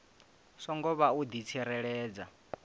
songo vha u di tsireledza